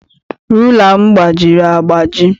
Rula m gbajiri agbaji.